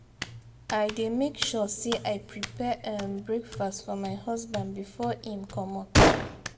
i dey make sure sey i prepare um breakfast for my husband before im comot.